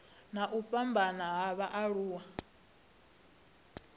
na u fhambana ha vhaaluwa